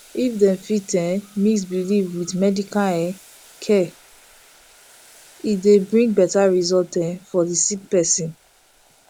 if dem fit um mix belief with medical um care e dey bring better result um for the sick person